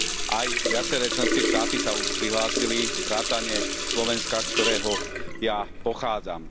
Aj viaceré členské štáty sa už prihlásili, vrátane Slovenska, z ktorého ja pochádzam.